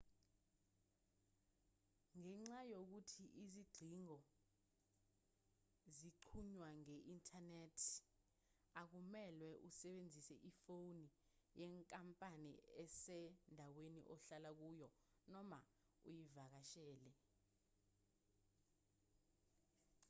ngenxa yokuthi izingcingo zixhunywa nge-inthanethi akumelwe usebenzise ifoni yenkampani esendaweni ohlala kuyo noma oyivakashele